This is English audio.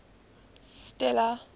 stella